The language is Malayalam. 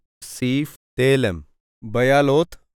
സീഫ് തേലെം ബയാലോത്ത്